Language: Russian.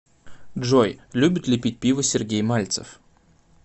джой любит ли пить пиво сергей мальцев